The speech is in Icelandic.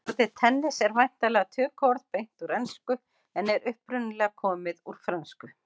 Orðið tennis en væntanlega tökuorð beint úr ensku en er upprunalega komið úr frönsku.